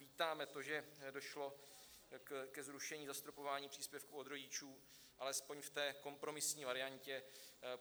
Vítáme to, že došlo ke zrušení zastropování příspěvku od rodičů alespoň v té kompromisní variantě.